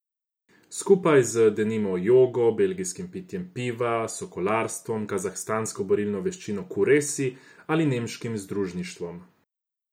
Skupaj z, denimo, jogo, belgijskim pitjem piva, sokolarstvom, kazahstansko borilno veščino kuresi ali nemškim zadružništvom.